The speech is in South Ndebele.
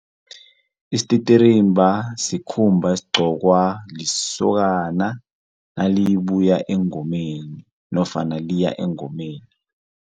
Isititirimba sikhumba esigcokwa lisokana nalibuya engomeni nofana liya engomeni.